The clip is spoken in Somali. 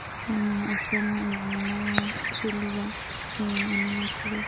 Waa maxay astamaha iyo calaamadaha Piliga ee annulatiga?